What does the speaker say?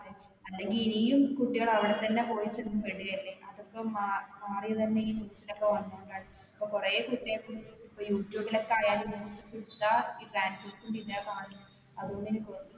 അല്ലെങ്കിൽ ഇനിയും കുട്ടികൾ അവിടെ തന്നെ പോയിട്ട് പെടുകല്ലേ അതൊക്കെ മ മാറിയതന്നെ ഈ news ലൊക്കെ വന്നോണ്ടാണ് ഇപ്പൊ കൊറേ കുട്ടികൾക്കും ഇപ്പൊയൂട്യൂബിലൊക്കെ ആയാലു ഈ transorze ന്റെ ഇതാ അത്കൊണ്ട് കാണുന്നെ